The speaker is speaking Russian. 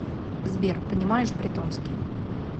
сбер понимаешь бретонский